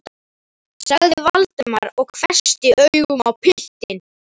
sagði Valdimar og hvessti augun á piltinn.